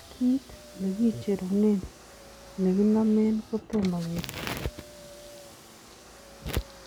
Kiit nekicherunen nekinomen kotoma kesich